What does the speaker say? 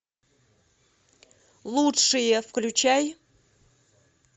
лучшие включай